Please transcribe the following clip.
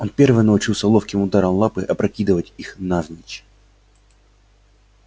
он первый научился ловким ударом лапы опрокидывать их навзничь